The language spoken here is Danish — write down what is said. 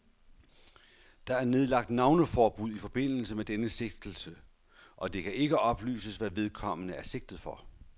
Der er nedlagt navneforbud i forbindelse med denne sigtelse, og det kan ikke oplyses, hvad vedkommende er sigtet for.